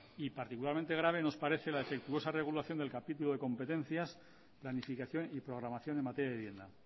y particularmente grave nos parece la defectuosa regulación del capítulo de competencias planificación y programación en materia de vivienda